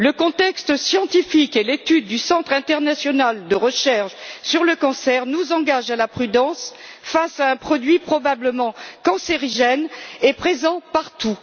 Le contexte scientifique et l'étude du Centre international de recherche sur le cancer nous incitent à la prudence face à un produit probablement cancérigène et présent partout.